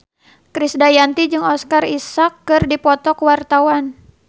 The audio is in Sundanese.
Krisdayanti jeung Oscar Isaac keur dipoto ku wartawan